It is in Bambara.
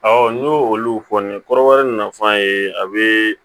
n y'olu fɔ nin ye kɔrɔbɔrɔ nafan ye a bɛ